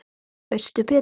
Veistu betur?